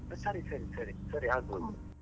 ಸರಿ ಸರಿ ಸರಿ ಸರಿ ಆಗ್ಬೋದು.